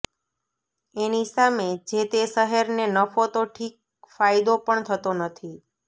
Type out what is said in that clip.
એની સામે જેતે શહેરને નફો તો ઠીક ફાયદો પણ થતો નથી